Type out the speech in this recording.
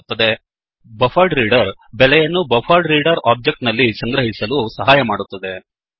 buffered reader buffered reader ಬೆಲೆಯನ್ನು buffered reader object buffered reader object ನಲ್ಲಿ ಸಂಗ್ರಹಿಸಲು ಸಹಾಯ ಮಾಡುತ್ತದೆ